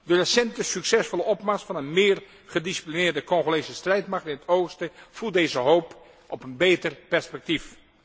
De recente succesvolle opmars van een meer gedisciplineerde Congolese strijdmacht in het oosten voedt deze hoop op een beter perspectief.